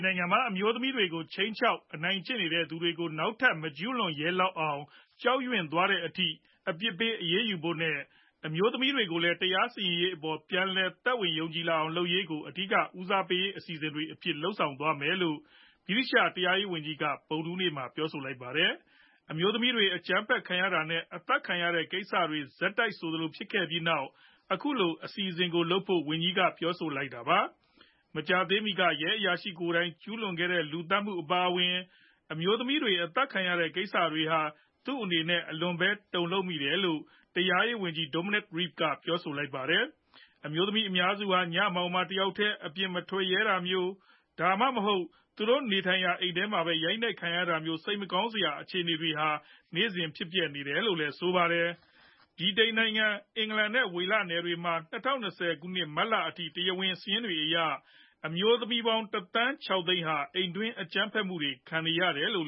နိုင်ငံမှာ အမျိုးသမီးတွေကို ခြိမ်းခြောက်အနိုင်ကျင့်နေသူတွေကို နောက်ထပ် မကျူးလွန်ရဲလောက်အောင်ကြောက်ရွံသွားတဲ့အထိအပစ်ပေးရေးယူဖို့နဲ့ အမျိုးသမီးတွေ ကိုလည်းတရားစီရင်ရေးအပေါ်ပြန်လည်သက်ဝင်ယုံကြည်လာအောင်လုပ်ရေးကို အဓိကဦးစားပေးအစီအစဉ်တွေအဖြစ် လုပ်ဆောင်သွားမယ်လို့ ဗြိတိသျှတရားရေးဝန် ကြီးက ဗုဒ္ဓဟူးနေ့မှာပြောဆိုလိုက်ပါတယ်။ အမျိုးသမီးတွေ အကြမ်းဖက်ခံရတာနဲ့ အသတ်ခံရတဲ့ကိစ္စတွေ ဆက်တိုက်ဖြစ်ခဲ့ပြီးနောက် အခုလိုအစီအစဉ်ကိုလုပ်ဖို့ဝန်ကြီး က ပြောဆိုလိုက်တာပါ။ မကြာသေးမီက ရဲ အရာရှိကိုယ်တိုင်းကျူးလွန်ခဲ့တဲ့ လူသတ်မှုအပါအဝင် အမျိုးသမီးတွေအသတ်ခံရတဲ့ကိစ္စတွေဟာ သူ့အနေနဲ့ အလွန်ပဲ တုံလှုပ်မိတယ်လို့ တရားရေးဝန်ကြီး Dominic Raab ကပြောဆိုပါတယ်။ အမျိုးသမီးအများစုဟာ ညမှောင်မှောင် တယောက်ထဲမပြင်မထွက်ရဲတာမျိုး၊ ဒါမှမဟုတ် သူတို့နေထိုင်ရာအိမ်ထဲမှာဘဲ ရိုက်နှက်ခံနေရတာမျိုး စိတ်မကောင်းစရာအခြေအနေတွေ ဟာနေ့စဉ်ဖြစ်ပျက်နေတာပါလို့လည်းဆိုပါတယ်။ ဗြိတိန်နိုင်ငံ အင်္ဂလန်နဲ့ ဝေလနယ်တွေမှာ ၂၀၂၀ မတ်အလအထိ တရားဝင်စာရင်းတွေအရ အမျိုးသမီးပေါင်း ၁ သန်း ၆ သိန်းဟာ အိမ်တွင်းအကြမ်းဖက်မှုခံရတယ်လို့